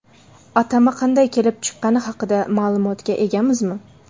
Atama qanday kelib chiqqani haqida ma’lumotga egamizmi?